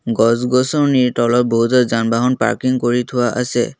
গছ-গছনিৰ তলত বহুতো যান-বাহন পাৰ্কিং কৰি থোৱা আছে।